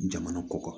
Jamana kɔkɔ